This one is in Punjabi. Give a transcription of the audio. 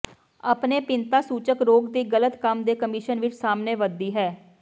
ਆਪਣੇ ਭਿੰਨਤਾਸੂਚਕ ਰੋਗ ਦੀ ਗਲਤ ਕੰਮ ਦੇ ਕਮਿਸ਼ਨ ਵਿਚ ਸਾਹਮਣੇ ਵੱਧਦੀ ਹੈ